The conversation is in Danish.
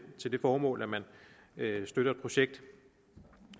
formål at man støtter et projekt